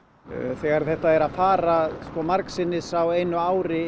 þegar þetta er að fara margsinnis á einu ári